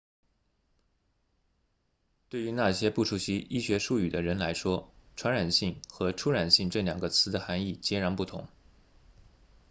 对于那些不熟悉医学术语的人来说传染性和触染性这两个词的含义截然不同